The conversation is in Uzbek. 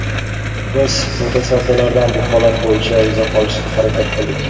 Biz mutasaddilardan bu holat bo‘yicha izoh olishga harakat qildik.